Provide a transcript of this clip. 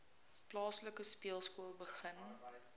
plaaslike speelskool begin